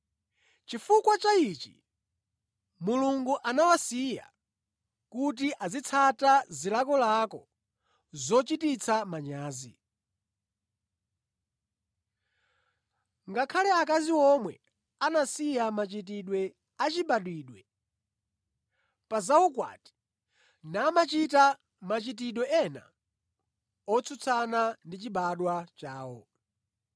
Chifukwa cha ichi, Mulungu anawasiya kuti azitsata zilakolako zochititsa manyazi. Ngakhale akazi omwe anasiya machitidwe achibadwidwe pa za ukwati, namachita machitidwe ena otsutsana ndi chibadwa chawo.